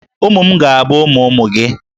Ụmụ m ga-abụ ụmụ ụmụ gị.